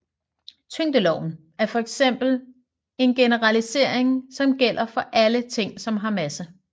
Tyngdeloven er for eksempel en generalisering som gælder for alle ting som har masse